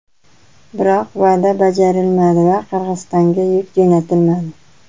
Biroq va’da bajarilmadi va Qirg‘izistonga yuk jo‘natilmadi.